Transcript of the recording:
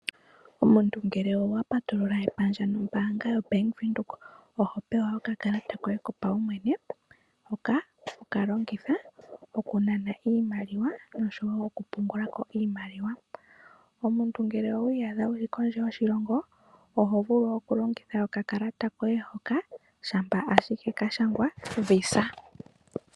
Omuntu ngele owa patulula epandja nombaanga yaWindhoek, oho pewa okakalata koye kopawumwene hoka hokalongitha okunana iimaliwa nosho woo oku pungulako iimaliwa. Omuntu ngele owiiyadha wuli kondje yoshilongo oho vulu oku longitha oka kalata koye hoka shampa ashike kashangwa VISA.